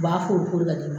U b'a fo de ka di ne ma